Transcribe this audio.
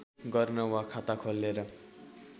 गर्न वा खाता खोलेर